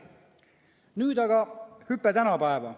Nüüd aga hüpe tänapäeva.